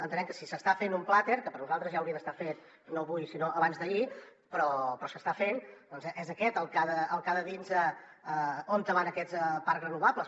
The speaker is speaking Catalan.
entenem que si s’està fent un plater que per nosaltres ja hauria d’estar fet no avui sinó abans d’ahir però s’està fent doncs és aquest el que ha de dir nos on van aquests parc renovables